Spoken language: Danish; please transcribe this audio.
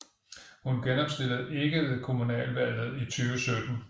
Hun genopstillede ikke ved kommunalvalget i 2017